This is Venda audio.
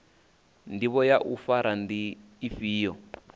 ndivho ya u fara ndi ifhio